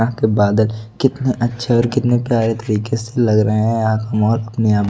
के बादल कितने अच्छे और कितने प्यारे तरीके से लग रहे हैं यहां का मोर अपने--